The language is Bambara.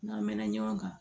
N'an mɛn na ɲɔgɔn kan